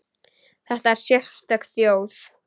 Þetta er sérstök þjóð.